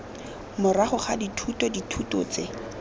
morago ga dithuto dithuto tse